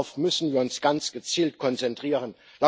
Darauf müssen wir uns ganz gezielt konzentrieren.